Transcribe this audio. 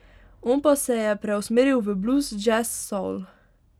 On pa se je preusmeril v bluz, džez, soul ...